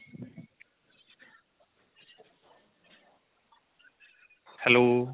hello